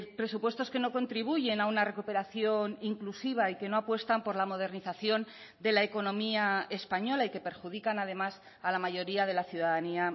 presupuestos que no contribuyen a una recuperación inclusiva y que no apuestan por la modernización de la economía española y que perjudican además a la mayoría de la ciudadanía